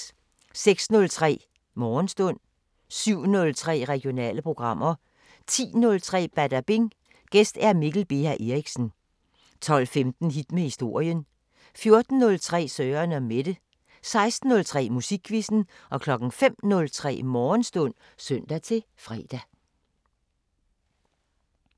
06:03: Morgenstund 07:03: Regionale programmer 10:03: Badabing: Gæst Mikkel Beha Erichsen 12:15: Hit med historien 14:03: Søren & Mette 16:03: Musikquizzen 05:03: Morgenstund (søn-fre)